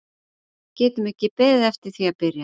Við getum ekki beðið eftir því að byrja.